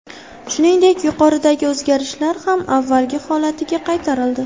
Shuningdek, yuqoridagi o‘zgarishlar ham avvalgi holatiga qaytarildi.